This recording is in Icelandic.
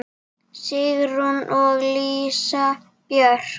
Sigrún og Lísa Björk.